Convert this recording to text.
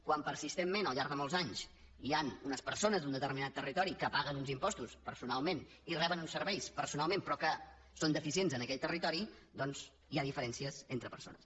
quan persistentment al llarg de molts anys hi han unes persones d’un determinat territori que paguen uns impostos personalment i reben uns serveis personalment però que són deficients en aquell territori doncs hi ha diferències entre persones